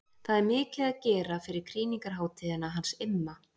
Það er mikið að gera fyrir krýningarhátíðina hans Imma.